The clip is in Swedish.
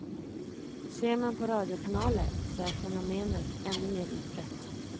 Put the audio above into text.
Ser man på radiokanaler så är fenomenet ännu mer utbrett.